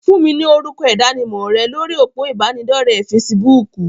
Fún mi ni orúkọ ìdánimọ̀ rẹ lórí òpó ìbánidọ́rẹ̀ fesibúùkù.!